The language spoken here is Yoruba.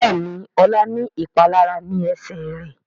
Béèni Ola ní ìpalára ní Ẹsẹ̀ rẹ.